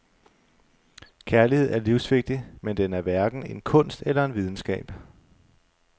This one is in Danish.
Kærlighed er livsvigtig, men den er hverken en kunst eller en videnskab.